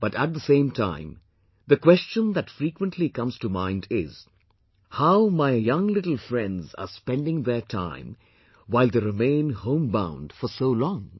But at the same time, the question that frequently comes to mind is, how my young little friends are spending their time while they remain homebound for so long